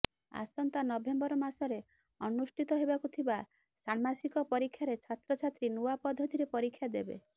ଆସନ୍ତା ନଭେମ୍ବର ମାସରେ ଅନୁଷ୍ଠିତ ହେବାକୁ ଥିବା ଷାଣ୍ମାସିକ ପରୀକ୍ଷାରେ ଛାତ୍ରଛାତ୍ରୀ ନୂଆ ପଦ୍ଧତିରେ ପରୀକ୍ଷା ଦେବେ